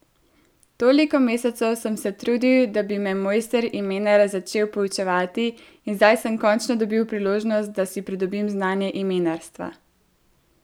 Toliko mesecev sem se trudil, da bi me mojster Imenar začel poučevati, in zdaj sem končno dobil priložnost, da si pridobim znanje imenarstva.